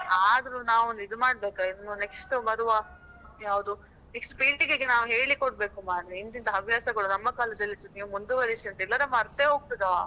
ಆದ್ರು ನಾವೊಂದು ಇದು ಮಾಡ್ಬೇಕಾ ಇನ್ನು next ಬರುವಾ ಯಾವುದು next ಪೀಳಿಗೆಗೆ ನಾವು ಹೇಳಿ ಕೊಡ್ಬೇಕು ಮಾರೆ ಇಂತಿಂತ ಹವ್ಯಾಸಗಳು ನಮ್ಮ ಕಾಲದಲ್ಲಿ ಸ ಮುಂದುವರಿಸಬೇಕಾ ಇಲ್ಲದ್ರೆ ಮರ್ತೆ ಹೋಗ್ತದಾ.